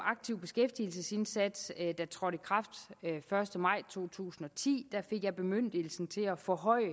aktiv beskæftigelsesindsats der trådte i kraft den første maj to tusind og ti fik jeg bemyndigelsen til at forhøje